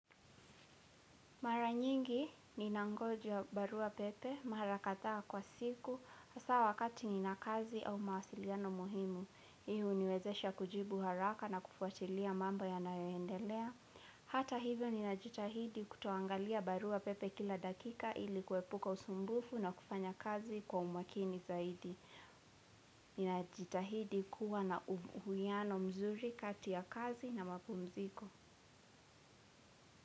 Mara nyingi, ninangoja barua pepe mara kadhaa kwa siku, hasa wakati nina kazi au mawasiliano muhimu. Hii huniwezesha kujibu haraka na kufuatilia mambo yanayoendelea. Hata hivyo ninajitahidi kutoangalia barua pepe kila dakika ili kuepuka usumbufu na kufanya kazi kwa umakini zaidi. Ninajitahidi kuwa na uwiano mzuri kati ya kazi na mapumziko.